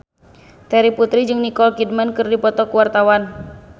Terry Putri jeung Nicole Kidman keur dipoto ku wartawan